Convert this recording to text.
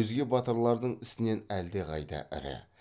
өзге батырлардың ісінен әлдеқайда ірі